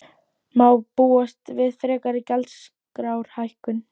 Þorbjörn Þórðarson: Má búast við frekari gjaldskrárhækkun?